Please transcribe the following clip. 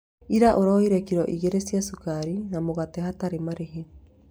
Ira ũroire kiro igĩrĩ cia cukari na mũgate hatarĩ marĩhi